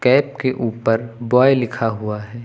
Cap के ऊपर bye लिखा हुआ है।